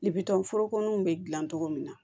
foroko nun be gilan cogo min na